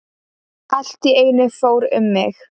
Allt í einu fór um mig.